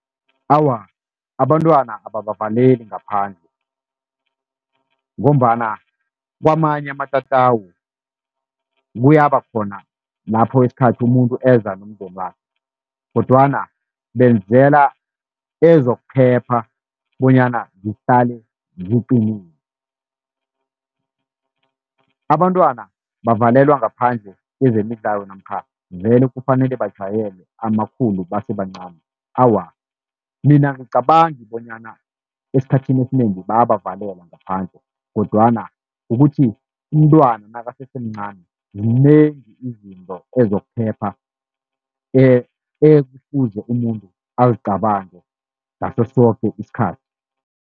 Awa, abantwana ababavaleli ngaphandle, ngombana kwamanye amatatawu kuyaba khona lapho isikhathi umuntu eza nomndenakhe kodwana benzela ezokuphepha bonyana zihlale ziqinile. Abantwana bavalelwa ngaphandle kezemidlalo namkha vele kufanele bajayele amakhulu basebancani. Awa, mina angicabangi bonyana esikhathini esinengi bayabavalela ngaphandle, kodwana kukuthi umntwana nakasesemncani zinengi izinto ezokuphepha, ekufuze umuntu azicabange ngaso soke isikhathi.